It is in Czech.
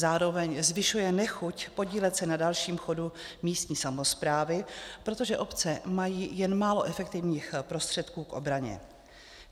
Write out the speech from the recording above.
Zároveň zvyšuje nechuť podílet se na dalším chodu místní samosprávy, protože obce mají jen málo efektivních prostředků k obraně.